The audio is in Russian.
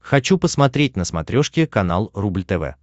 хочу посмотреть на смотрешке канал рубль тв